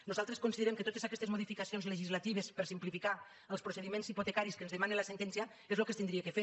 nosaltres considerem que totes aquestes modificacions legislatives per simplificar els procediments hipotecaris que ens demana la sentència és el que s’hauria de fer